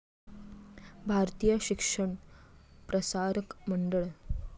Bharatiya Shikshan Prasarak Mandal